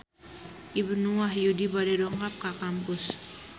Ibnu Wahyudi bade dongkap ka kampus